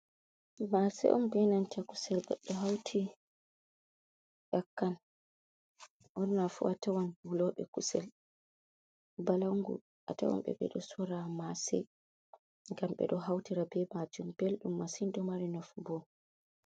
Mase'i on be nanta kusel goɗɗo hauti nyakkan. Burnafu sorrobe kusel balangu, atawanbe beɗo sorro Mase'i, gam beɗo hautira be majum belɗum masin ɗo mari njafu bo.